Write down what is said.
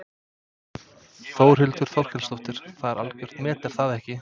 Þórhildur Þorkelsdóttir: Það er algjört met er það ekki?